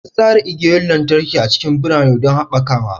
An tsara igiyoyin lantarki a cikin birane don haɓakawa.